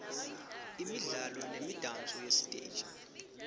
imidlalo nemidanso yesiteji